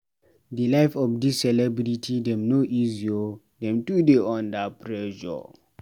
Di life of dis celebrity dem no easy o, dem too de dey under pressure.